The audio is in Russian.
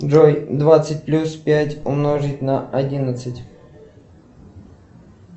джой двадцать плюс пять умножить на одиннадцать